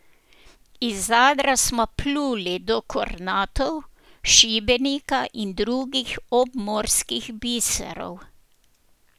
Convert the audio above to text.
Iz Zadra smo pluli do Kornatov, Šibenika in drugih obmorskih biserov.